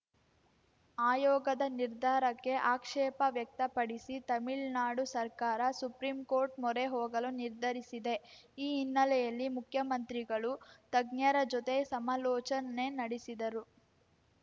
ಆಯೋಗದ ನಿರ್ಧಾರಕ್ಕೆ ಆಕ್ಷೇಪ ವ್ಯಕ್ತಪಡಿಸಿ ತಮಿಳ್ನಾಡು ಸರ್ಕಾರ ಸುಪ್ರೀಂಕೋರ್ಟ್‌ ಮೊರೆ ಹೋಗಲು ನಿರ್ಧರಿಸಿದೆ ಈ ಹಿನ್ನೆಲೆಯಲ್ಲಿ ಮುಖ್ಯಮಂತ್ರಿಗಳು ತಜ್ಞರ ಜೊತೆ ಸಮಾಲೋಚ ನೆ ನಡೆಸಿದರು